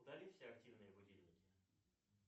удали все активные будильники